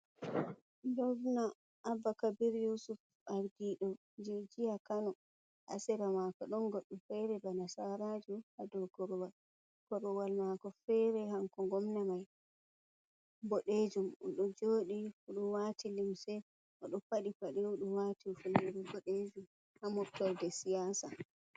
Govna abba kabir yusuf ardido jijiya kano ,hasera mako don goddu fere bana nasarajo ,hado korowal mako fere hanko gomna mai bodejum o do jodi odo wati limse odo padi bade odo wati hifnere bodejum ha movtorde siyasa.